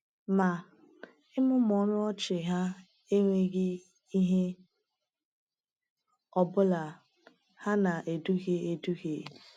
Ma, ịmụmụ ọnụ ọchị ha enweghị ihe ọ bụla; ha na-eduhie eduhie.